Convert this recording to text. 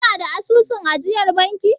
Kina da asusun ajiyar banki?